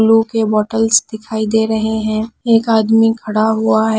Glue के bottles दिखाई दे रहे हैं एक आदमी खड़ा हुआ है।